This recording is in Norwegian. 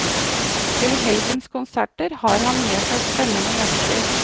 Til helgens konserter har han med seg spennende gjester.